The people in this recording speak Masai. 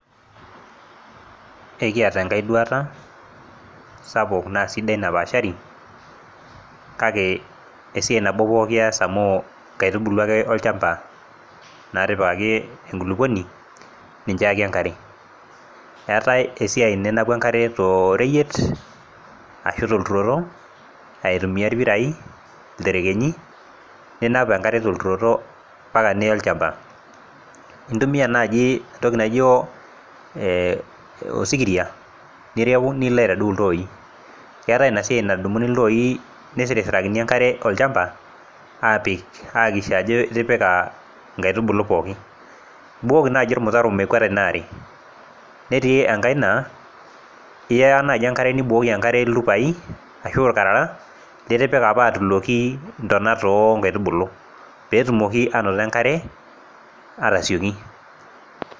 Ekiata enkae duata sapuk naa sidai napaashari kake esiai nabo ees pookin amu inkaitubulu ake olchamba naatipikaki enkulukoni, ninche ake iyaki enkare. Eetai esiai ninapu enkare too reyiet ashu tolturoto aitumia irpirai, ilterkenyi, ninap enkare tolturoto mpaka niya olchamba intumia naaji oo ee osikiria nireu nilo aitaduo iltoi. Keetai ina siai nadumuni iltoi nisirisirakini enkare olchamba aapik aiakikisha ajo itipika inkaitubulu pookin, ibukoki naaji ormutataro mekweta ina are. Netii enkae naa iya naaji enkare nibukoki enkare iltupai ashu irkarara liti[ika apa atuloki intonat oo nkaitubulu peetumoki aanoto enkare aatasioki.